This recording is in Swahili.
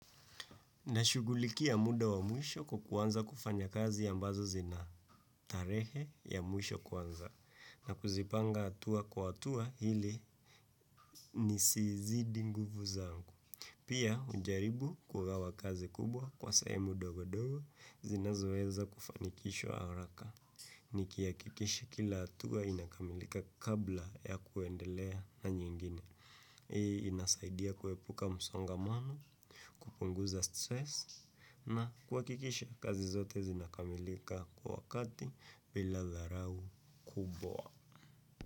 Nashugulikia muda wa mwisho kuwa kuanza kufanyakazi ambazo zina tarehe ya mwisho kuanza na kuzipanga hatua kwa hatua ili nisizidi nguvu zangu. Pia hujaribu kugawa kazi kubwa kwa sehemu ndogo ndogo zinazoeza kufanikishwa haraka. Nikihakikisha kila hatua inakamilika kabla ya kuendelea na nyingine. Inasaidia kuepuka msongamano, kupunguza "stress". Na kuhakikisha kazi zote zinakamilika kwa wakati bila dharau kubwa.